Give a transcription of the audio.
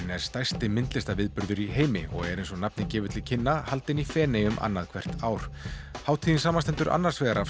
er stærsti myndlistarviðburður í heimi og er eins og nafnið gefur til kynna haldinn í Feneyjum annað hvert ár hátíðin samanstendur annars vegar af